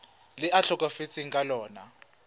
le a tlhokafetseng ka lona